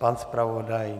Pan zpravodaj?